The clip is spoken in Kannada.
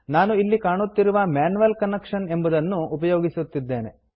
ನಾನು ಇಲ್ಲಿ ಕಾಣುತ್ತಿರುವ ಮ್ಯಾನ್ಯುಯಲ್ ಕನೆಕ್ಷನ್ ಎಂಬುದನ್ನು ಉಪಯೋಗಿಸುತ್ತೇನೆ